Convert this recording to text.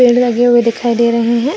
लगे हुए दिखाई दे रहे हैं।